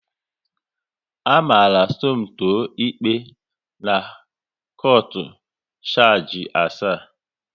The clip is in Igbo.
A mara Somto ikpe n'kaunt shargi asaa